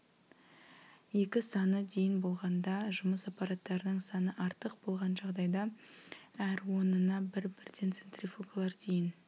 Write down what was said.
екі саны дейін болғанда жұмыс аппараттарының саны артық болған жағдайда әр онына бір-бірден центрифугалар дейін